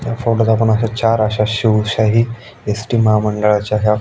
या फोटोत आपण अशा चार अशा शिवशाही एस.टी. महामंडळाच्या ह्या--